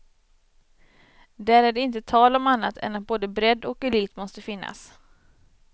Där är det inte tal om annat än att både bredd och elit måste finnas.